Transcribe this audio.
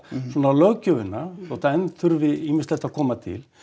löggjöfina þótt enn þurfi ýmislegt að koma til